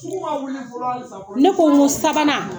Ne ko n ko sabanan